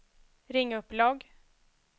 ring upp logg